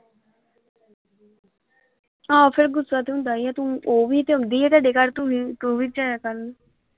ਆਹੋ ਫੇਰ ਗੁੱਸਾ ਤੇ ਹੁੰਦਾ ਹੀ ਆ ਤੂੰ ਓਹ ਵੀ ਤੇ ਆਉਂਦੀ ਆ ਤੁਹਾਡੇ ਘਰ ਤੂੰ ਵੀ ਤੂੰ ਵੀ ਜਾਇਆ ਕਰ।